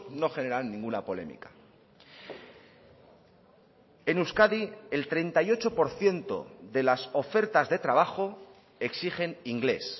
no generan ninguna polémica en euskadi el treinta y ocho por ciento de las ofertas de trabajo exigen inglés